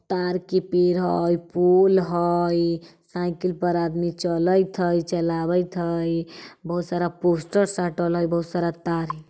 तार के पेड़ हई पोल हई साइकिल पर आदमी चलइत हई चलावैत हई बहुत सारा पोस्टर साटल हई बहुत सारा तार हई।